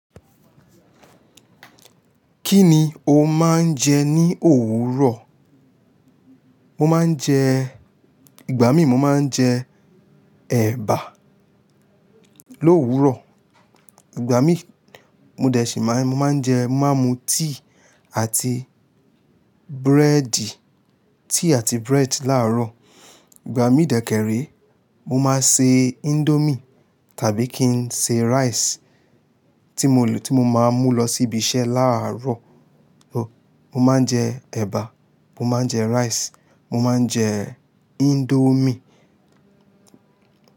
Kí ni o máa ń jẹ ní òwúrọ̀? Mo máa ń jẹ-- ìgbà mí mo máa ń jẹ ẹ̀bà l'òwúrọ̀. Ìgbà mí mo dẹ̀ sí máa-- mo máa ń jẹ, mo máa ń mu tíì àti búrẹ́dì, tíì àti bread láàárọ̀. Ìgbà mí dẹ̀ kéré, mo máa ṣe índómì tàbí kí n se rice tí mo lò, tí mo máa mú lọ sí ibi iṣẹ́ láàárọ̀. Mo máa ń jẹ ẹ̀bà, mo máa ń jẹ rice, mo máa ń jẹ índómì.